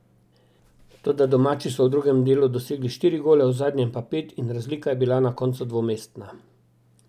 Toda domači so v drugem delu dosegli štiri gole, v zadnjem pa pet in razlika je bila na koncu dvomestna.